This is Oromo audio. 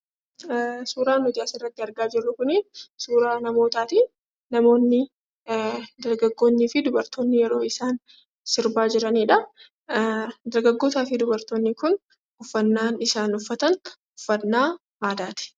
Suuraan nuti asirratti argaa jirru kunii suuraa namootaatii. Namoonni dargaggoonnii fi dubartoonni yeroo isaan sirbaa jiranidhaa. Dargaggootaa fi dubartoonni kun uffannaan isaan uffatan uffannaa aadaati.